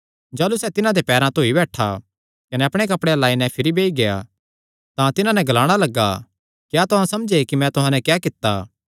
जाह़लू सैह़ तिन्हां दे पैरां धोई बैठा कने अपणे कपड़ेयां लाई नैं भिरी बेई गेआ तां तिन्हां नैं ग्लाणा लग्गा क्या तुहां समझे कि मैं तुहां नैं क्या कित्ता